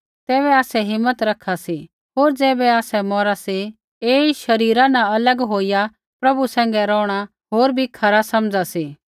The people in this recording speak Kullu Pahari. तैबै आसै हिम्मत रखा सी होर ज़ैबै आसै मौरा सी ऐई शरीरा न अलग होईया प्रभु सैंघै रोहणा होर भी खरा समझा सी